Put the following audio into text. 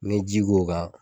N'i ye ji k'u kan